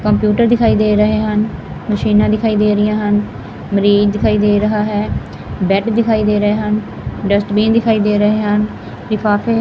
computer ਦਿਖਾਈ ਦੇ ਰਹੇ ਹਨ ਮਸ਼ੀਨਾਂ ਦਿਖਾਈ ਦੇ ਰਹੀਆਂ ਹਨ ਮਰੀਜ਼ ਦਿਖਾਈ ਦੇ ਰਿਹਾ ਹੈ ਬੈਡ ਦਿਖਾਈ ਦੇ ਰਹੇ ਹਨ ਡਸਟਬੀਨ ਦਿਖਾਈ ਦੇ ਰਹੇ ਹਨ ਲਿਫਾਫੇ--